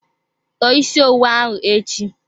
Tọọ isi owu ahụ echi!